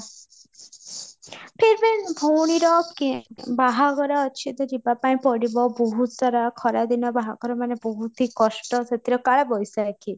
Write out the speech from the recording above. ଫିର ବି ଭଉଣୀର ବାହାଘର ତ ଯିବା ପାଇଁ ପଡିବ ବହୁତ ସାରା ଖରା ଦିନ ବାହାଘର ମାନେ ବହୁତ ହି କଷ୍ଟ ସେଥିରେ କାଳ ବୈଶାଖୀ